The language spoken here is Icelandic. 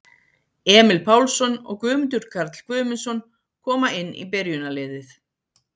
Emil Pálsson og Guðmundur Karl Guðmundsson koma inn í byrjunarliðið.